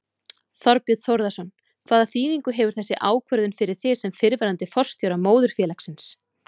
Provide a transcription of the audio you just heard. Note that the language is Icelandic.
Þorbjörn Þórðarson: Hvaða þýðingu hefur þessi ákvörðun fyrir þig sem fyrrverandi forstjóra móðurfélagsins?